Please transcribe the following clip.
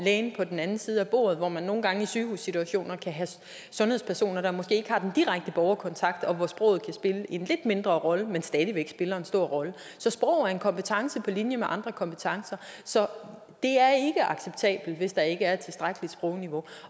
lægen på den anden side af bordet hvor man nogle gange i sygehussituationer kan have sundhedspersoner der måske ikke har den direkte borgerkontakt og hvor sproget kan spille en lidt mindre rolle men stadig væk spiller en stor rolle så sprog er en kompetence på linje med andre kompetencer så det er ikke acceptabelt hvis der ikke er et tilstrækkeligt sprogniveau